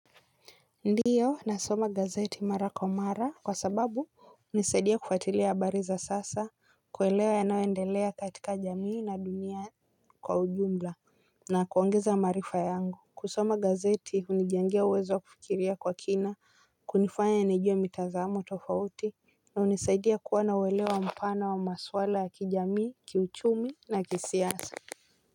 Ndiyo nasoma gazeti mara kwa mara kwa sababu hunisaidia kufuatilia habari za sasa. Kuelewa yanayoendelea katika jamii na dunia kwa ujumla na kuongeza maarifa yangu. Kusoma gazeti hunijangea uwezo wa kufikiria kwa kina hunifanya nijue mitazamo tofauti na hunisaidia kuwa na ueleo mpana wa maswala ya kijamii, kiuchumi na kisiasa.